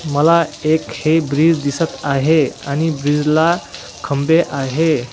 मला एक हे ब्रिज दिसत आहे आणि ब्रिजला खंबे आहे.